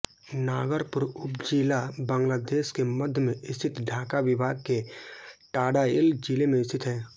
नागरपुर उपजिला बांग्लादेश के मध्य में स्थित ढाका विभाग के टाङाइल जिले में स्थित है